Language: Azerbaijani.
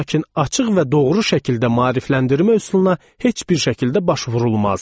Lakin açıq və doğru şəkildə maarifləndirmə üsuluna heç bir şəkildə baş vurulmazdı.